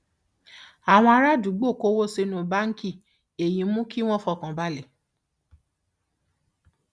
àwọn ará àdúgbò kó owó sínú báńkì èyí sì mú wọn fọkàn balẹ